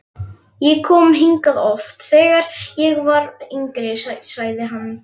Ég kom hingað oft, þegar ég var yngri sagði hann.